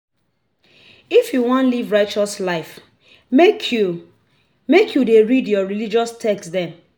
If you wan live righteous life make you make you dey read your religious text dem.